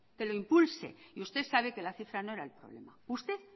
que lo impulse y usted sabe que la cifra no era el problema usted